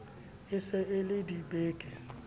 e se e ie dibeke